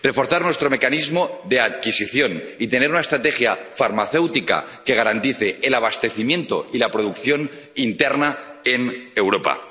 reforzar nuestro mecanismo de adquisición y tener una estrategia farmacéutica que garantice el abastecimiento y la producción interna en Europa